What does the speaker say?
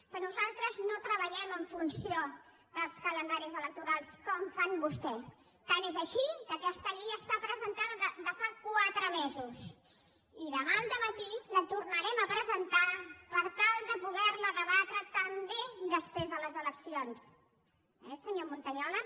perquè nosaltres no treballem en funció dels calendaris electorals com fan vostès tant és així que aquesta llei està presentada de fa quatre mesos i demà al dematí la tornarem a presentar per tal de poder la debatre també després de les eleccions eh senyor montañola